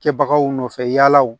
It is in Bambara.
Kɛbagaw nɔfɛ yala